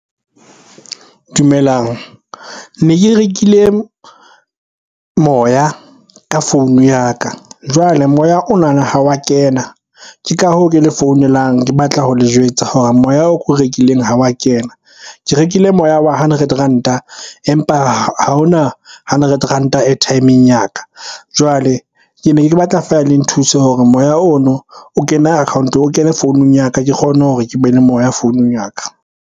Dumelang. Ne ke rekile moya ka founu ya ka, jwale moya onana ha wa kena. Ke ka hoo ke le founelang ke batla ho le jwetsa hore moya oo ko o rekileng ha wa kena. Ke rekile moya wa hundred ranta, empa ha hona hundred ranta airtime-eng ya ka. Jwale ke ne ke batla fela le nthuse hore moya ono o kene account-o, o kene founung ya ka ke kgone hore ke be le moya founung ya ka.